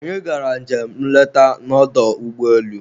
Anyị gara njem nleta na ọdọ ụgbọelu